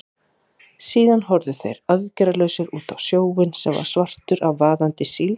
Síðan horfðu þeir aðgerðalausir út á sjóinn, sem var svartur af vaðandi síld.